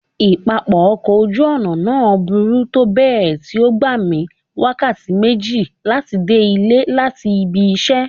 Ipapọ ọkọ oju-ọna naa buru tobẹẹ ti o gba mi wakati meji lati de ile lati ibi iṣẹ.